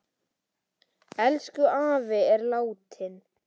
Elsku afi er látinn.